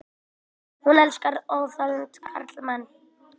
Hún elskar óþolandi karlmenn.